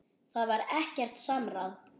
Það var ekkert samráð.